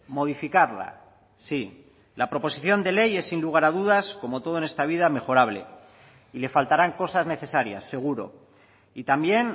modificarla sí la proposición de ley es sin lugar a dudas como todo en esta vida mejorable y le faltarán cosas necesarias seguro y también